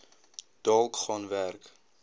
dalk gaan werk